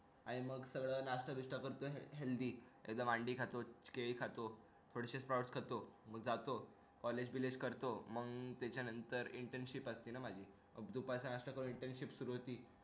काय मग नास्ता करतो healthy मांडे खातो केळी खातो थोडे फळे खातो मग जातो college बिलेज करतो मग त्याच्यानंतर internship सुरु होते